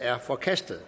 er forkastet